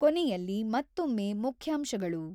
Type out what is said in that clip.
ಕೊನೆಯಲ್ಲಿ ಮತ್ತೊಮ್ಮೆ ಮುಖ್ಯಾಂಶಗಳು ><>